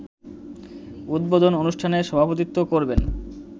উদ্বোধন অনুষ্ঠানে সভাপতিত্ব করবেন